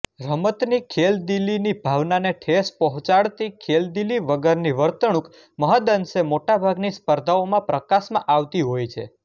રમતની ખેલદીલીની ભાવનાને ઠેસ પહોચાડતી ખેલદીલી વગરની વર્તણૂક મહદઅંશે મોટાભાગની સ્પર્ધાઓમાં પ્રકાશમાં આવતી હોય છે